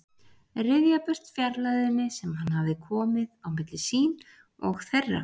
Ryðja burt fjarlægðinni sem hann hafði komið á milli sín og þeirra.